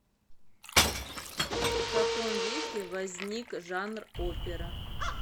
в каком веке возник жанр опера